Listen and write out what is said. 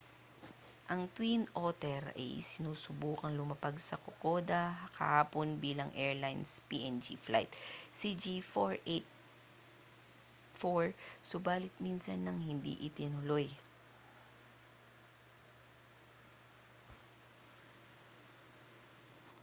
ang twin otter ay sinusubukang lumapag sa kokoda kahapon bilang airlines png flight cg4684 subalit minsan nang hindi itinuloy